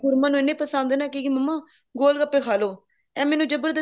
ਮੇਰੀ ਗੁਰਮਨ ਨੂੰ ਇਹਨੇ ਪਸੰਦ ਹੈ ਨਾ ਕਹੇਗੀ ਮੰਮਾ ਗੋਲ ਗੱਪੇ ਖਾਲੋ ਐ ਮੈਨੂੰ ਜਬਰਦਸਤੀ